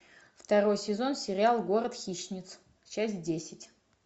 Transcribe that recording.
второй сезон сериал город хищниц часть десять